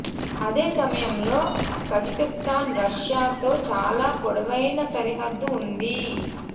అదే సమయంలో Kazakhstan Russia తో చాలా పొడవైన సరిహద్దు ఉంది